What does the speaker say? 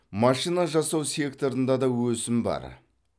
машина жасау секторында да өсім бар